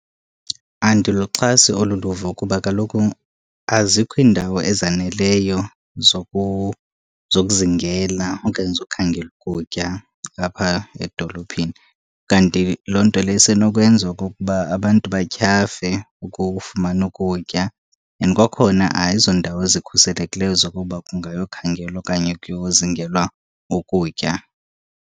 Andiluxhasi olu luvo kuba kaloku azikho iindawo ezaneleyo zokuzingela okanye zokukhangela ukutya apha edolophini. Kanti loo nto leyo isenokwenza okokuba abantu batyhafe ukufumana ukutya. And kwakhona, ayizondawo zikhuselekileyo zokuba kungayokhangelwa okanye kuyozingelwa ukutya.